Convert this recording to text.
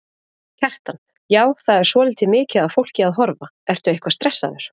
Kjartan: Já, það er svolítið mikið af fólki að horfa, ertu eitthvað stressaður?